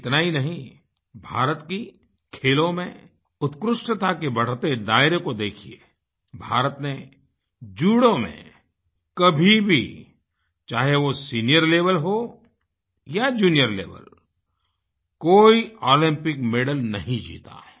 इतना ही नहीं भारत की खेलों में उत्कृष्टता के बढ़ते दायरे को देखिये भारत ने जूडो में कभी भी चाहे वो सीनियर लेवल हो या जूनियर लेवल कोई ओलिंपिक मेडल नहीं जीता है